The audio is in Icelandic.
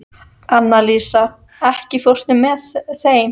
Annalísa, ekki fórstu með þeim?